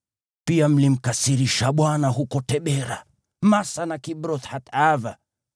Pia mlimkasirisha Bwana huko Tabera, Masa na Kibroth-Hataava.